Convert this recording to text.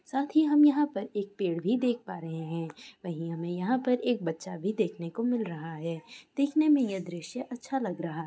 साथ ही हम यहाँ पर एक पेड़ भी देख पा रहे है। वही हमे यहाँ पर एक बच्चा भी देखने को मिल रहा है। देखने मे यह दृश्य अच्छा लग रहा --